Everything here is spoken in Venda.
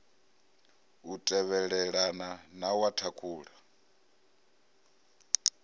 u tevhelelana na wa thakhula